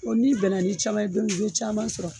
n'i bɛnna ni caman ye don min i bɛ caaman sɔrɔ.